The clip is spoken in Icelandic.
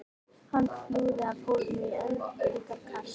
Hann flúði af hólmi í hendingskasti.